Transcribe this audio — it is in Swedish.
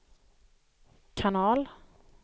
kanal